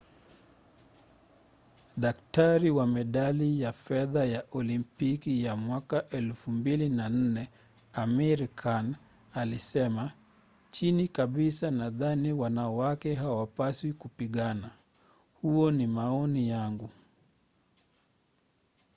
daktari wa medali ya fedha ya olimpiki ya 2004 amir khan alisema chini kabisa nadhani wanawake hawapaswi kupigana. huo ni maoni yangu.